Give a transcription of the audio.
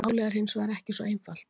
Málið er hins vegar ekki svo einfalt.